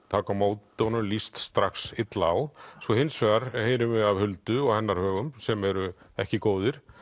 taka á móti honum líst strax illa á svo hins vegar heyrum við af Huldu og hennar högum sem eru ekki góðir